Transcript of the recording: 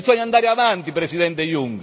Bisogna andare avanti Presidente Juncker!